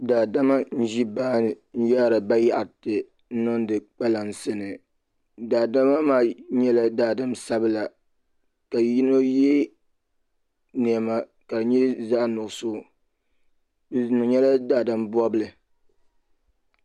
Daadama n ʒi baani n yaari bayaɣati niŋdi kpalansi ni daadama maa nyɛla daadam sabla ka yino ye niɛma ka di nyɛ zaɣa nuɣuso bɛ nyɛla daadam bobli.